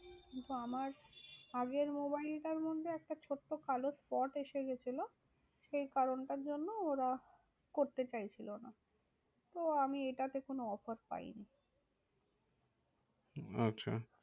কিন্তু আমার আগের মোবাইলটার মধ্যে একটা ছোট্ট কালো spot এসে গেছিলো সেই কারণটার জন্য ওরা করতে চাইছিলো না। তো আমি এটাতে কোনো offer পাইনি। আচ্ছা